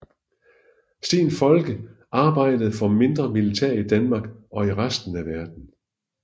Steen Folke og arbejdede for mindre militær i Danmark og i resten af verden